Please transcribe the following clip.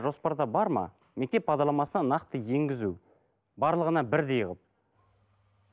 жоспарда бар ма мектеп бағдарламасына нақты енгізу барлығына бірдей қылып